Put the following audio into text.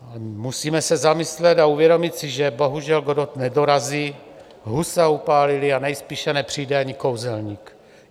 Musíme se zamyslet a uvědomit si, že bohužel Godot nedorazí, Husa upálili a nejspíše nepřijde ani kouzelník.